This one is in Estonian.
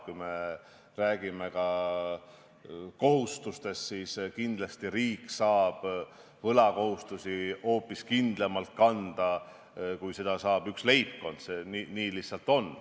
Kui me räägime kohustustest, siis kindlasti saab riik võlakohustusi hoopis kindlamalt kanda, kui seda saab teha üks leibkond, nii see lihtsalt on.